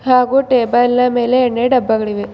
ಹಾಗೂ ಟೇಬಲ್ ನ ಮೇಲೆ ಎಣ್ಣೆ ಡಬ್ಬಗಳಿವೆ.